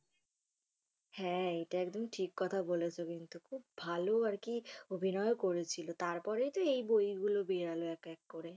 হ্যা এটা একদম ঠিক কথা বলেছো কিন্তু খুব ভালো আরকি অভিনয়ও করেছিল তার পরেই তো এই বই গুলো বের হল এক এক করে।